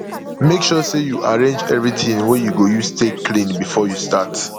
mek sure sey yu arrange evritin wey yu go use take clean bifor yu start